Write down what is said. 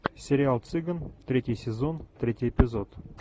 сериал цыган третий сезон третий эпизод